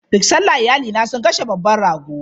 Duk sallah, iyalina sun kashe babban rago.